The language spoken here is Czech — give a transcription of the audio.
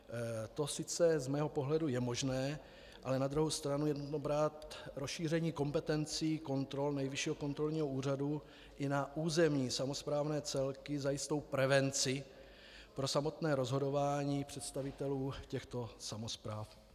To sice z mého pohledu je možné, ale na druhou stranu je nutno brát rozšíření kompetencí kontrol Nejvyššího kontrolního úřadu i na územní samosprávné celky za jistou prevenci pro samotné rozhodování představitelů těchto samospráv.